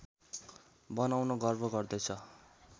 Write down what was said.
बनाउन गर्व गर्दैछ